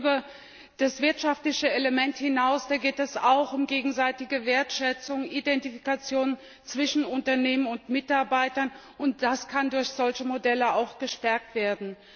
Das geht über das wirtschaftliche Element hinaus Da geht es auch um gegenseitige Wertschätzung, Identifikation zwischen Unternehmen und Mitarbeitern das kann durch solche Modelle auch gestärkt werden.